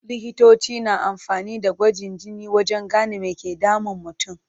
Likitoci na amfani da gwajin jini wajen gane me ke damun mutum.